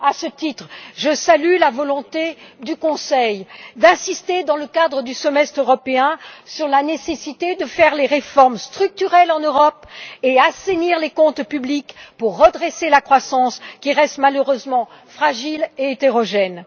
À ce titre, je salue la volonté du Conseil d'insister, dans le cadre du semestre européen, sur la nécessité de mener des réformes structurelles en Europe et d'assainir les comptes publics pour rétablir la croissance, qui reste malheureusement fragile et hétérogène.